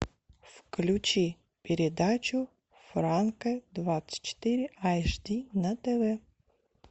включи передачу франко двадцать четыре аш ди на тв